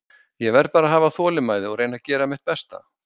Ég verð bara að hafa þolinmæði og reyna að gera mitt besta.